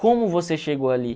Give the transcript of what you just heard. Como você chegou ali?